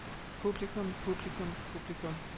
publikum publikum publikum